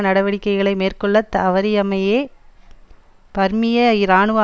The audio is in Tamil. நடவடிக்கைகளை மேற்கொள்ள தவறியமையே பர்மிய இராணுவ